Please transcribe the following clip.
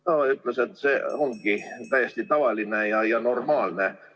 Ta ütles, et see ongi täiesti tavaline ja normaalne.